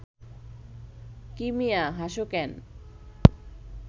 কী মিয়া, হাসো ক্যান